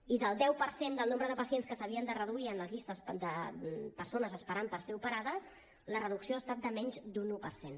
i del deu per cent del nombre de pacients que s’havien de reduir en les llistes de persones esperant per ser operades la reducció ha estat de menys d’un un per cent